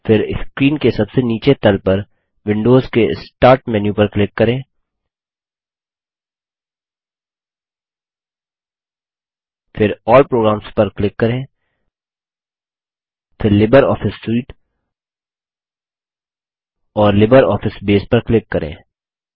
फिर स्क्रीन के सबसे नीचे तल पर विंडोज के स्टार्ट मेनू पर क्लिक करें फिर अल्ल प्रोग्राम्स पर क्लिक करें फिर लिब्रियोफिस सूटे और लिब्रियोफिस बसे पर क्लिक करें